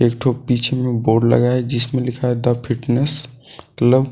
एक ठो पीछे में बोर्ड लगा है जिसमे लिखा है द फिटनेस क्लब ।